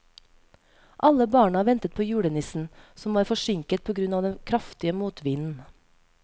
Alle barna ventet på julenissen, som var forsinket på grunn av den kraftige motvinden.